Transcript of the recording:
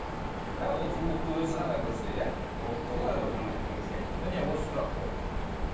бірақ ол сұлулықты өзі ғана көрсе иә міне осы сұрақ қой